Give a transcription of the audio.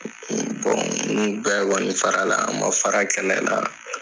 ninnu bɛɛ kɔni fara la, u ma fara kɛlɛ la.